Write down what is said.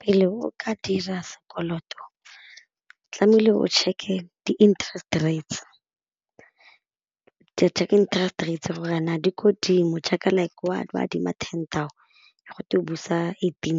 Pele o ka dira sekoloto tlame'ile o check-e di interest rates, check interest rates gore a na di ko godimo check like o adima ten go twe o busa eighteen